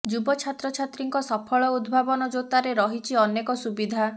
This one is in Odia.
ଯୁବ ଛାତ୍ରଛାତ୍ରୀଙ୍କ ସଫଳ ଉଦ୍ଭାବନ ଜୋତାରେ ରହିଛି ଅନେକ ସୁବିଧା